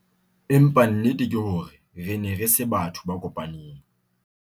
Empa nnete ke hore re ne re se batho ba kopaneng.